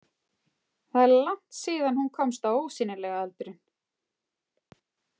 Það er langt síðan hún komst á ósýnilega aldurinn.